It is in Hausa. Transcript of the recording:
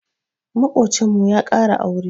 Maƙocinmu ya ƙara aure.